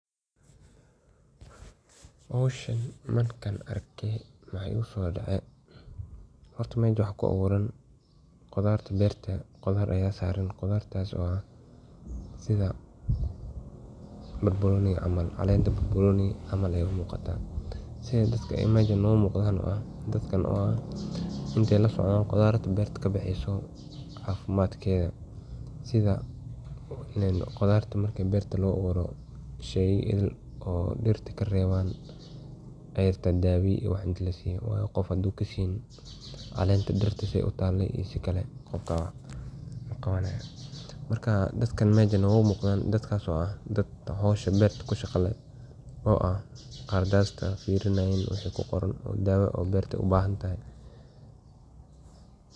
Howshan markan arkay waxa igusodacay horta mesha maxa kuaburan qudarta berta, qudar aya saran, qudartas o ah sida barbaroniga camal, calenat barbaroni camal ay umuquta sidi dadka meshan ugumuqdan wa dadkan oo ah sida ay ulasocdan qudarta berta kabaxeyso cafimatkeda sida qudarta marki berto luga aburo sheyii ideel oo dirat karebaan ay arbta dawo in lasiyo si o qof hadu kaseynin calenta dirta say utala i sikale marka dadkan mesha nowmuqdan dadkas o ah dad howsha berta kushaqa leh o ah qaradsat waxa kuqoran firinayin o berta ay ubahantahay.